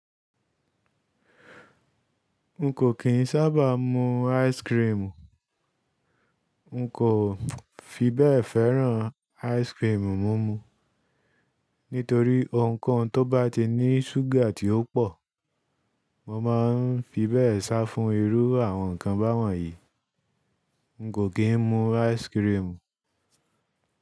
N kò kí n sábà mu ice cream. N kò fi bẹ́ẹ̀ fẹ́ràn ice cream. Múmu, nítorí ohunkohun tó bá ti ní ṣúgà tí ó pọ̀, mo máa ń fi bẹ́ẹ̀ sá fún irú àwọn nǹkan báwọ̀n yìí. N kò kí n mu ice cream.